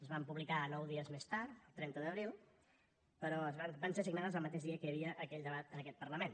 es van publicar nou dies més tard trenta d’abril però van ser signades el mateix dia que hi havia aquell debat en aquest parlament